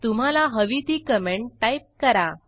तुम्हाला हवी ती कॉमेंट टाईप करा